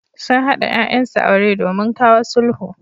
Sun haɗa ƴaƴansu aure domin kawo sulhu.